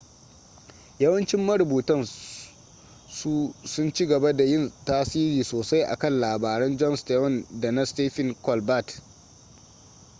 yawancin marubutan su sun ci gaba da yin tasiri sosai a kan labaran jon stewart da na stephen colbert